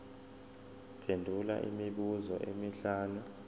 phendula imibuzo emihlanu